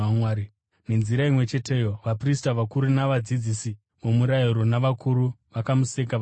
Nenzira imwe cheteyo, vaprista vakuru, navadzidzisi vomurayiro navakuru vakamuseka vachiti,